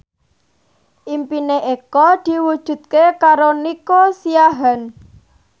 impine Eko diwujudke karo Nico Siahaan